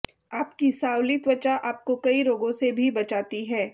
आपकी सांवली त्वचा आपको कई रोगों से भी बचाती है